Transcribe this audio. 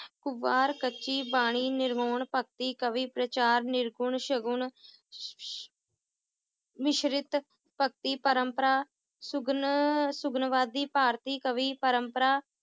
ਕੱਚੀ ਬਾਣੀ ਨਿਰਵਾਉਣ ਭਗਤੀ ਕਵੀ ਪ੍ਰਚਾਰ ਨਿਰਗੁਣ ਸ਼ਗੁਨ ਮਿਸ਼੍ਰਿਤ ਭਗਤੀ ਪ੍ਰੰਪਰਾ ਸੁਗਨ~ ਸੁਗਨਵਾਦੀ ਭਾਰਤੀ ਕਵੀ ਪ੍ਰੰਪਰਾ,